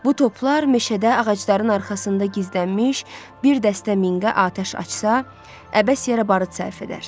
Bu toplar meşədə ağacların arasında gizlənmiş bir dəstə minqə atəş açsa, əbəs yerə barıt sərf edər.